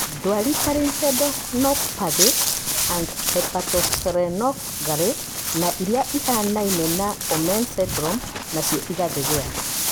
Ndwari ta Lymphadenopathy and hepatosplenomegaly na irĩa itahanaine na Omenn syndrome, nacio igathegea